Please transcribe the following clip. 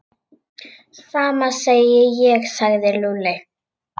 Sama segi ég sagði Lúlli.